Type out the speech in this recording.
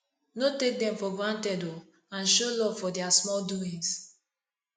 no take dem for granted o and show luv for dia small doings